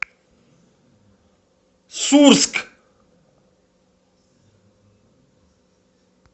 сурск